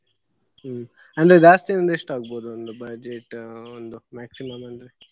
ಹ್ಮ್‌ ಅಂದ್ರೆ ಜಾಸ್ತಿಯಂದ್ರೆ ಎಷ್ಟ್ ಆಗ್ಬಹುದು ಒಂದು budget ಒಂದು maximum ಅಂದ್ರೆ.